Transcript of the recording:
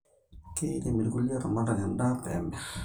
Keirem irkulie ilaramatak endaa pemir